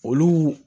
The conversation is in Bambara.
Olu